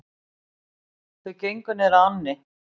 Þau gengu niður að ánni.